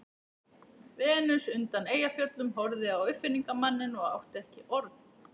Venus undan Eyjafjöllum horfði á uppfinningamanninn og átti ekki orð.